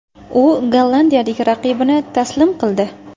U gollandiyalik raqibini taslim qildi.